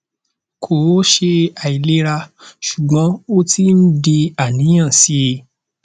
kò ṣe àìlera ṣùgbọn ó ti ń di àníyàn sí i